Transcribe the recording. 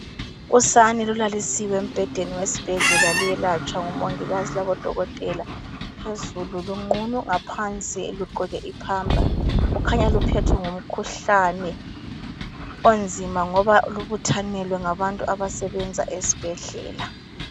Usane lulalisiwe embhedeni wesibhedlela luyelatshwa ngumongikazi labodokotela. Phezulu lunqunu, ngaphansi lugqoke ipamper. Kukhanya luphethwe ngumkhuhlane onzima ngoba lubuthanelwe ngabantu abasebenza esibhedlela.